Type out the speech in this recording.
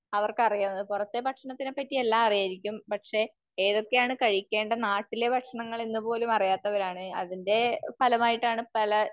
അവർക്കറിയാവുന്നത് പുറത്തെ ഭക്ഷണത്തിനെപ്പറ്റി എല്ലാം അറിയുമായിരിക്കും. പക്ഷേ ഏതൊക്കെയാണ് കഴിക്കേണ്ടത്, നാട്ടിലെ ഭക്ഷണങ്ങൾ എന്ന് പോലും അറിയാത്തവരാണ്. അതിന്റെ ഫലമായിട്ടാണ് പല